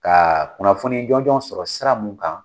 Ka kunnafoni jɔnjɔ sɔrɔ sira mun kan.